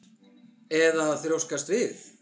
Eða að þrjóskast við?